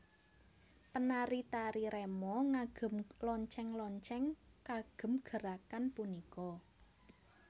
Penari tari remo ngagem lonceng lonceng kagem gerakan punika